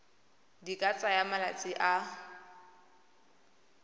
di ka tsaya malatsi a